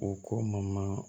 O ko ma